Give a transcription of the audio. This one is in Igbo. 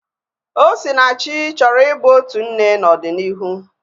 Osinachi chọrọ i bụ otu nne n'ọdịnihu